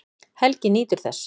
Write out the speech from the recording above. Helgi nýtur þess.